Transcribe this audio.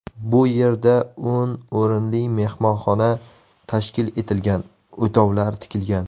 Bu yerda o‘n o‘rinli mehmonxona tashkil etilgan, o‘tovlar tikilgan.